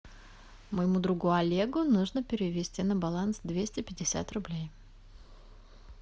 моему другу олегу нужно перевести на баланс двести пятьдесят рублей